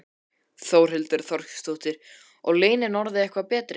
Þórhildur Þorkelsdóttir: Og launin orðin eitthvað betri?